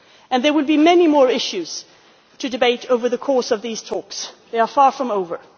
There will be many more issues to debate over the course of these talks, which are far from over.